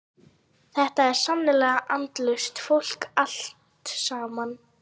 Þetta er sannarlega andlaust fólk allt saman.